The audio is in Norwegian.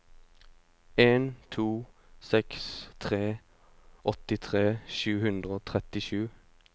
en to seks tre åttitre sju hundre og trettisju